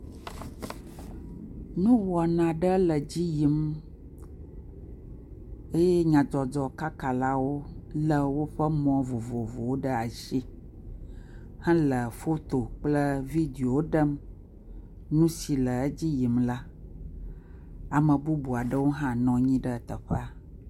Nuwɔna aɖe le edzi yim eye nyadzɔdzɔ kaka la wòle woƒe mɔ vovovowo ɖe asi hele foto kple videowo ɖem kple nusi le edzi yim la. Ame bubua ɖewo hã anyi ɖe teƒea.